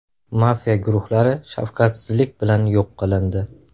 Mafiya guruhlari shafqatsizlik bilan yo‘q qilindi.